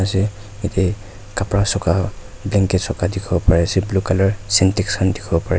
jatte kapara sukha blanket sukha dekhi bo Pari ase blue colour sentex khan dekhi bo Pare--